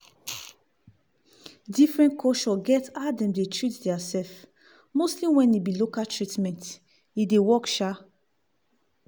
diffrent culture get how dem dey treat deir self mostly wen e be local treatment e dey work sha!.